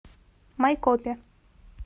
майкопе